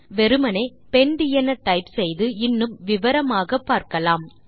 வெறுமே பெண்ட் என டைப் செய்து இன்னும் விவரமாக பார்க்கலாம்